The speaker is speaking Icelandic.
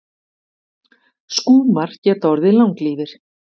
Skúmar geta orðið langlífir.